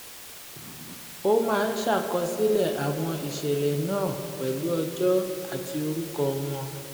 ó máa ń ṣàkọsílẹ̀ àwọn ìṣẹ̀lẹ̀ náà pẹ̀lú ọjọ́ àti orúkọ wọn